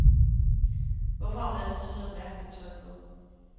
Hvorfor har hun altid sådan noget mærkeligt tøj på?